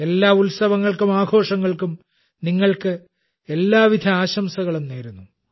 എല്ലാ ഉത്സവങ്ങൾക്കും ആഘോഷങ്ങൾക്കും നിങ്ങൾക്ക് എല്ലാവിധ ആശംസകളും നേരുന്നു